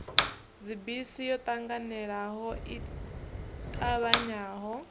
dzibisi yo ṱanganelano i ṱavhanyaho